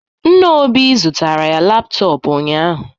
Nna Obi zụtara ya laptop ụnyahụ